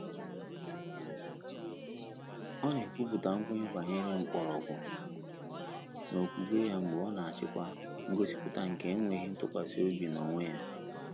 Ọ́ nà-ékwúpụ́tà nkwènye gbànyéré mkpọ́rọ́gwụ́ n’ókwúkwé yá mgbè ọ́ nà-àchị́kwá ngọ́sípụ́tà nké énwéghị́ ntụ́kwàsị́ óbí n’ónwé yá.